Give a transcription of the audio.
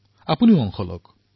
আপোনালোকো যোগদান কৰক